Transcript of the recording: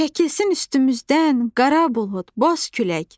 Çəkilsin üstümüzdən qara bulud, boz külək.